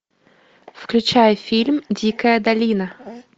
включай фильм дикая долина